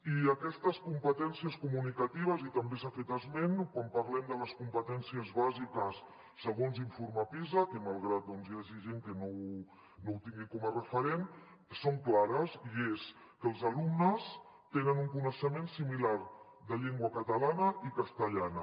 i aquestes competències comunicatives i també se n’ha fet esment quan parlem de les competències bàsiques segons l’informe pisa malgrat que doncs hi hagi gent que no ho tingui com a referent són clares i és que els alumnes tenen un coneixement similar de llengua catalana i castellana